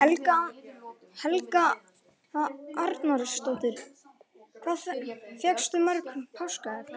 Helga Arnardóttir: Hvað fékkstu mörg páskaegg?